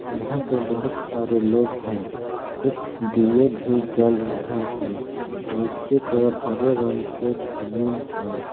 यहां पे बहुत सारे लोग हैं कुछ दीए भी जल रहे हैं नीचे के ओर हरे रंग के जमीन है।